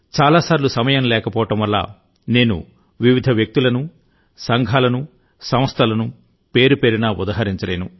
చాలా సార్లు సమయం లేకపోవడం వల్ల నేను వివిధ వ్యక్తులను సంఘాలను సంస్థలను పేరుపేరునా ఉదహరించలేను